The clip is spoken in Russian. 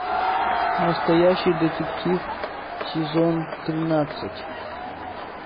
настоящий детектив сезон тринадцать